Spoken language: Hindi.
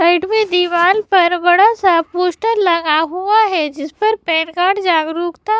साइड में दीवार पर बड़ा सा पोस्टर लगा हुआ है जिस पर पैन कार्ड जागरूकता--